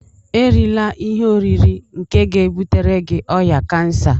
Erila ihe oriri nke ga-ebutere gị ọrịa kansa